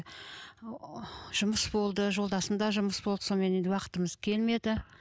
жұмыс болды жолдасымда жұмыс болды сонымен енді уақытымыз келмеді